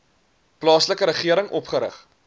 plaaslike regering opgerig